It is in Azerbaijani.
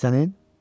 Bəs sənin?